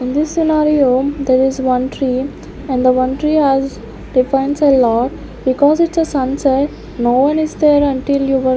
In this scenario there is one tree and the one tree has defines a lot because it's a sunset. no one is there until you were --